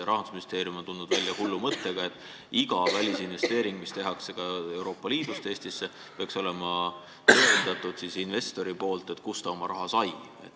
Rahandusministeerium on tulnud välja hullu mõttega, et iga välisinvesteeringu korral, mis tehakse ka Euroopa Liidust Eestisse, peaks investor tõendama, kust ta oma raha sai.